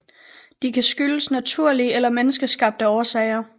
De kan skyldes naturlige eller menneskeskabte årsager